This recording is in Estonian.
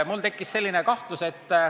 Mul tekkis selline kahtlus.